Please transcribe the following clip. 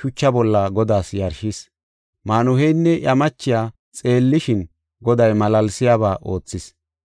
shucha bolla Godaas yarshis. Maanuheynne iya machiya xeellishin, Goday malaalsiyaba oothis.